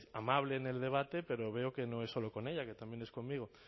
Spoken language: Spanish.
amable en el debate pero veo que no es solo con ella que también es conmigo